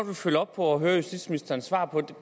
vil følge op på og høre justitsministerens svar på